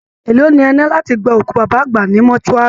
Èló ni ẹ ná láti gba òkú baba àgbà ní mortuary?